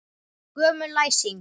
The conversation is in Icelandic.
Gömul læsing.